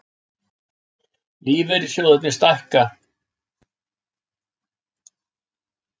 Lífeyrissjóðirnir stækka